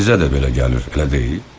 Sizə də belə gəlir, elə deyil?